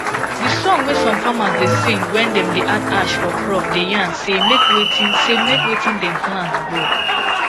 de song wey some farmers da sing when dem da add ash for crop da yan say make wetin say make wetin dem plant grow